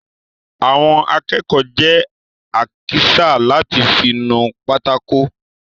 Àwọn akẹ́kọ̀ọ́ jẹ àkísà láti fí nu pátákó.